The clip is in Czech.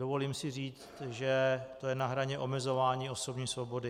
Dovolím si říct, že to je na hraně omezování osobní svobody.